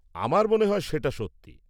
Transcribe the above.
-আমার মনে হয় সেটা সত্যি।